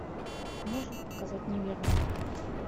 можешь показать неверную